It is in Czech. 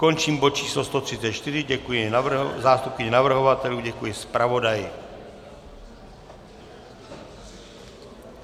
Končím bod číslo 134, děkuji zástupkyni navrhovatelů, děkuji zpravodaji.